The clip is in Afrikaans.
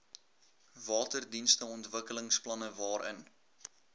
waterdienste ontwikkelingsplanne waarin